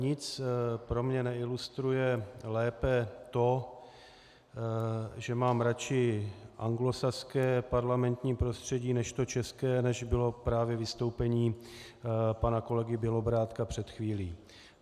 Nic pro mě neilustruje lépe to, že mám radši anglosaské parlamentní prostředí než to české, než bylo právě vystoupení pana kolegy Bělobrádka před chvílí.